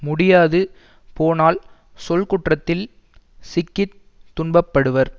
முடியாது போனால் சொல்குற்றத்தில் சிக்கி துன்பப்படுவர்